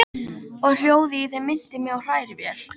Og hljóðið í þeim minnti mig á hrærivél!